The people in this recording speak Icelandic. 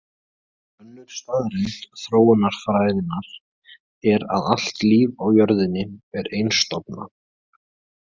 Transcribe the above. Önnur staðreynd þróunarfræðinnar er að allt líf á jörðinni er einstofna.